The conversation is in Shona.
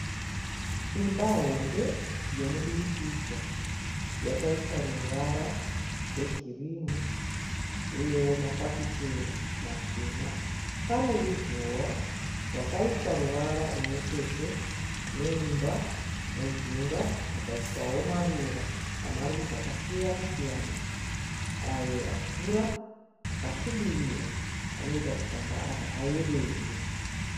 Imba hombe yomudurukidzwa yakaiswa ruvara rwegirini uyewo mafafitera machena pane ruzhowa rwakaiswa ruvara rumwe chete neimba mujinga mukaiswawo maruva amarudzi akasiyana siyana ayo akura akasvibirira anoita kuti pamba apa payevedze.